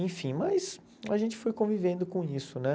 Enfim, mas a gente foi convivendo com isso, né?